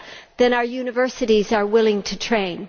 than our universities are willing to train.